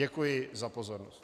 Děkuji za pozornost.